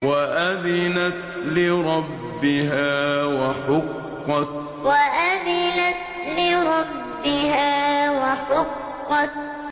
وَأَذِنَتْ لِرَبِّهَا وَحُقَّتْ وَأَذِنَتْ لِرَبِّهَا وَحُقَّتْ